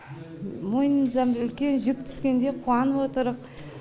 мойнымыздан бір үлкен жүк түскендей қуанып отырқ